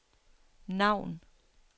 navn